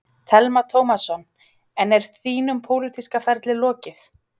Telma Tómasson: En er þínum pólitíska ferli lokið?